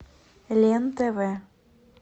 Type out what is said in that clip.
лен тв